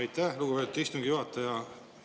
Aitäh, lugupeetud istungi juhataja!